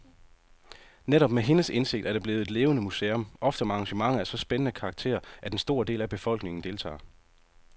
Netop med hendes indsigt er det blevet et levende museum, ofte med arrangementer af så spændende karakter, at en stor del af befolkningen deltager.